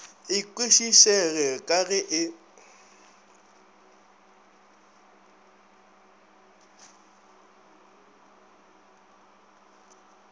e kwešišege ka ge e